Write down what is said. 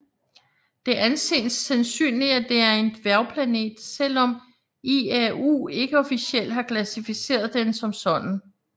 Det anses sandsynligt at det er en dværgplanet selvom IAU ikke officielt har klassificeret den som sådan